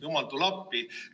Jumal, tule appi!